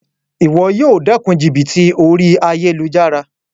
Wo yíì o dékun jìbìtì orí ayélujára